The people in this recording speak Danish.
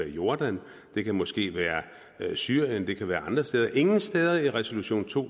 jordan det kan måske være til syrien det kan være til andre steder ingen steder i resolution to